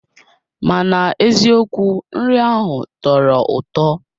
Mana eziokwu nri ahụ tọrọ ụtọ